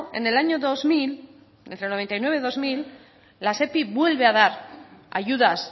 en el año dos mil entre noventa y nueve y dos mil la sepi vuelve a dar ayudas